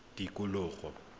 tikologo